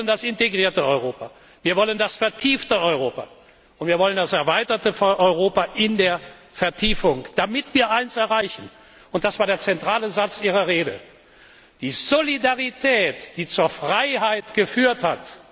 Wir wollen das integrierte Europa, wir wollen das vertiefte Europa, und wir wollen das erweiterte Europa in der Vertiefung, damit wir eines erreichen und das war der zentrale Satz Ihrer Rede die Solidarität, die zur Freiheit geführt hat.